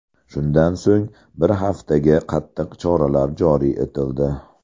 Shundan so‘ng bir haftaga qattiq choralar joriy etildi.